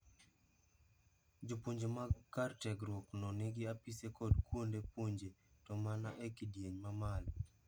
Jopuonje mag kar tiegruok no nigi apise kod kuonde puonje to mana e kidieny ma malo